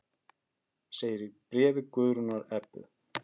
Segir í bréfi Guðrúnar Ebbu.